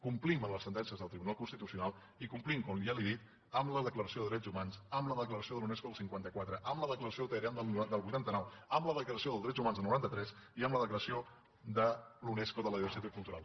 complim les sentències del tribunal constitucional i complim com ja li he dit amb la declaració de drets humans amb la declaració de la unesco del cinquanta quatre amb la declaració de teheran del vuitanta nou amb la declaració dels drets humans del noranta tres i amb la declaració de la unesco sobre la diversitat cultural